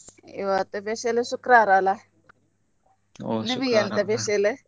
ಇವತ್ತು special ಶುಕ್ರವಾರ ಅಲ್ಲ ನಿಮಿಗ್ ಎಂತ special ?